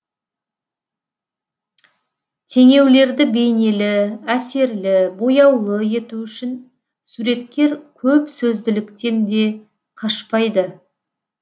теңеулерді бейнелі әсерлі бояулы ету үшін суреткер көп сөзділіктен де қашпайды